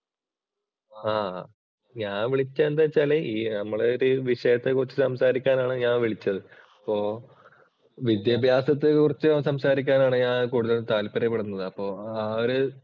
ആഹ് ഞാൻ വിളിച്ചത് എന്തെന്ന് വെച്ചാൽ നമ്മള് ഒരു വിഷയത്തെക്കുറിച്ച് സംസാരിക്കാൻ ആണ് ഞാൻ വിളിച്ചത്. അപ്പോ വിദ്യാഭ്യാസത്തെക്കുറിച്ച് സംസാരിക്കാനാണ് ഞാൻ കൂടുതൽ താല്പര്യപ്പെടുന്നത്. അപ്പൊ ആ ഒരു